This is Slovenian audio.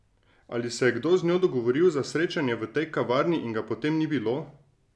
Ali se je kdo z njo dogovoril za srečanje v tej kavarni in ga potem ni bilo?